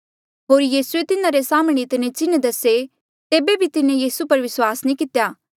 होर यीसूए तिन्हारे साम्हणें इतने चिन्ह दसे तेबे बी तिन्हें यीसू पर विस्वास नी कितेया